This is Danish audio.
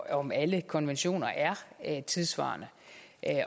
om alle konventioner er tidssvarende